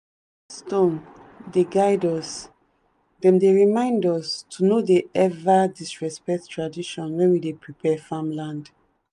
stones dey guide us them dey remind us to no dey ever disrespect tradition when we dey prepare farmland.